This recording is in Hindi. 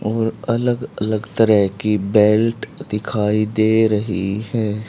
और अलग अलग तरह की बेल्ट दिखाई दे रही है।